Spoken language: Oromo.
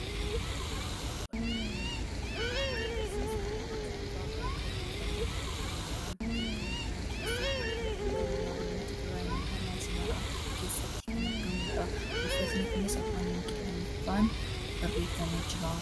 Suuraan armaan olii kun immoo kan inni nutti argisiisaa jiru suuraa bakka buufata xiyyaaraa biyya Itoophiyaa keessatti kan argamu, naannoo Tigraay magaalaa Asmaraa keessatti kan argamudha. Buufatni kunis Afaan Ingilifaan barreeffamee jira.